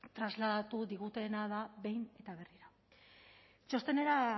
trasladatu digutena da behin eta berriro txostenera